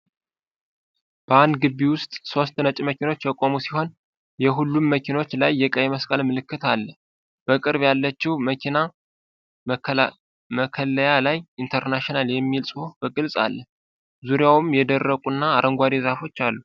በአንድ ግቢ ውስጥ ሦስት ነጭ መኪኖች የቆሙ ሲሆን፣ የሁሉም መኪኖች ላይ የቀይ መስቀል ምልክት አለ። በቅርብ ያለችው መኪና መከለያ ላይ "ኢንተርናሺናል" የሚል ጽሑፍ በግልጽ አለ፤ ዙሪያውንም የደረቁና አረንጓዴ ዛፎች አሉ።